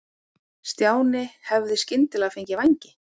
Stjáni hefði skyndilega fengið vængi.